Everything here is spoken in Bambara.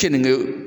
Keninge